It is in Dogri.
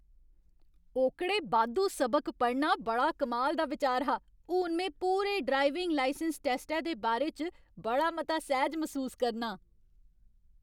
ओह्कड़े बाद्धू सबक पढ़ना बड़ा कमाल दा बिचार हा! हून में पूरे ड्राइविंग लाइसैंस टैस्टै दे बारे च बड़ा मता सैह्ज मसूस करनां।